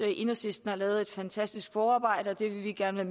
enhedslisten har lavet et fantastisk forarbejde og det vil vi gerne